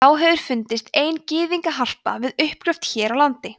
þá hefur fundist ein gyðingaharpa við uppgröft hér á landi